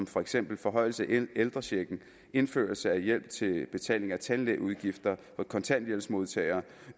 for eksempel forhøjelse af ældrechecken indførelse af hjælp til betaling af tandlægeudgifter for kontanthjælpsmodtagere